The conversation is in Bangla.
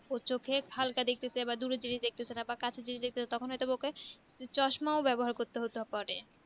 সে চোখে হালকা দেখতেছে দূরের জিনিস দেখছেনা বা কাছের জিনিস দেখতেছেনা তখন হয় তো বা ওকে চশমা ও ব্যাবহার করতে হবে